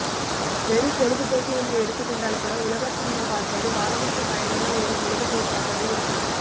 வெறும் பொழுதுபோக்கு என்று எடுத்துக்கொண்டால்கூட உலக சினிமா பார்ப்பது வாழ்வுக்குப் பயனுள்ள ஒரு பொழுதுபோக்காகவே இருக்கும்